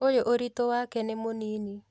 ũyũ ũritũ wake nĩ mũnini